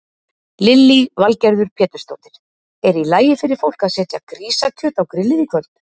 Lillý Valgerður Pétursdóttir: Er í lagi fyrir fólk að setja grísakjöt á grillið í kvöld?